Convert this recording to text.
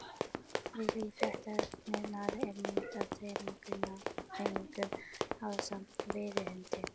Við hlið fréttarinnar er mynd af þremenningunum ásamt veiðihundi.